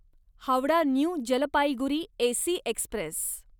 Howrah new Jalpaiguri AC Express